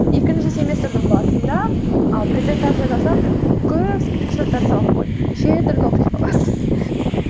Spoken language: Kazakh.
екінші семестрдің басында ы презентация жасап көп скриншоттарды салып қойдым нешетүрлі оқиғаларды